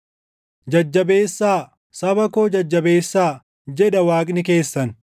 Jajjabeessaa; saba koo jajjabeessaa; jedha Waaqni keessan.